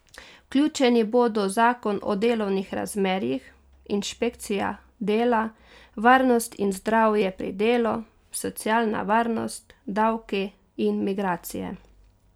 Vključeni bodo zakon o delovnih razmerjih, inšpekcija dela, varnost in zdravje pri delu, socialna varnost, davki in migracije.